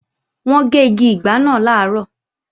Wọ́n gé igi ìgbá náà làárọ̀